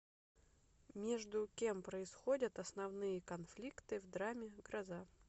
между кем происходят основные конфликты в драме гроза